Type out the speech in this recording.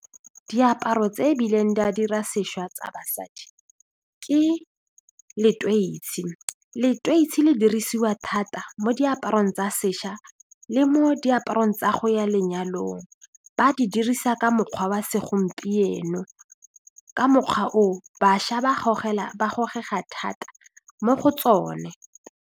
Diaparo tse e bileng di a dira sešwa tsa basadi ke leteisi, leteisi le dirisiwa thata mo diaparong tsa sešwa le mo diaparong tsa go ya lenyalong, ba di dirisa ka mokgwa wa segompieno, ka mokgwa oo bašwa ba gogega thata mo go tsone.